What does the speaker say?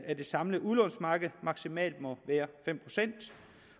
det samlede udlånsmarked maksimalt må være fem procent